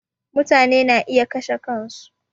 Mutane na iya kashe kan su